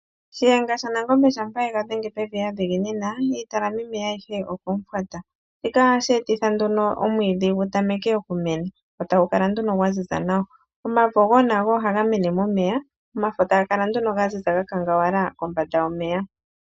Shiyenga shaNangombe shampa ye ga dhenge pevi ya dhiginina, iitalamimeya ayihe okomufwata. Shika ohashi ethitha nduno omwiidhi gu tameke okumena, go tagu kala nduno gwa ziza nawa. Omavo wo nago ohaga mene momeya, omafo taga kala nduno ga ziza ga kangawala kombanda yomeya.